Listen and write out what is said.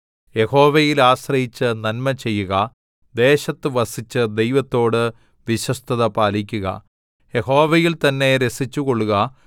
യഹോവയിൽ ആശ്രയിച്ച് നന്മചെയ്യുക ദേശത്ത് വസിച്ച് ദൈവത്തോട് വിശ്വസ്തത പാലിക്കുക യഹോവയിൽ തന്നെ രസിച്ചുകൊള്ളുക